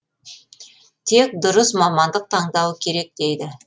тек дұрыс мамандық таңдауы керек дейді